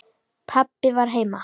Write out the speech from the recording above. Pabbi var heima.